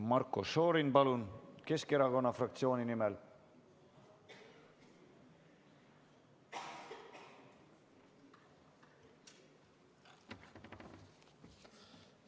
Marko Šorin, palun, Keskerakonna fraktsiooni nimel!